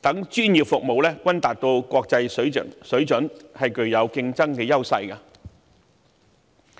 等專業服務均達國際水準，具競爭優勢。